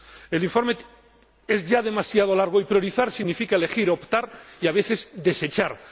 es ya demasiado largo y priorizar significa elegir, optar y, a veces, desechar.